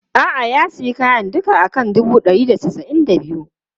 A'a, ya sayi kayan duka a kan dubu ɗari da casa'in da biyu.